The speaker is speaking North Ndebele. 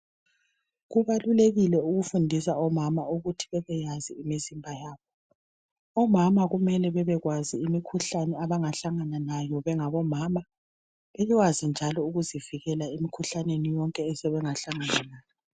Kubalulekile ukufundisa omama ukuthi bebeyazi imizimba yabo. Omama kumele bebekwazi imikhuhlane abangahlangana layo bengomama. Bekwazi njalo ukuzivikela emikhuhlaneni yonke asebengahlangana layo.